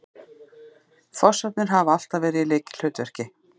Fossarnir hafa alltaf verið í lykilhlutverki